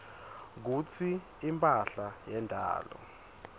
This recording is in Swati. kutsi imphahla yendalo